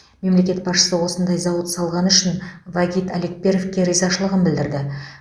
мемлекет басшысы осындай зауыт салғаны үшін вагит алекперовке ризашылығын білдірді